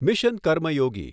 mission Karmayogi